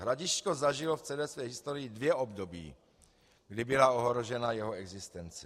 "Hradišťko zažilo v celé své historii dvě období, kdy byla ohrožena jeho existence.